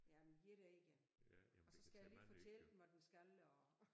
Jamen 1 egern og så skal jeg lige fortælle den hvad den skal og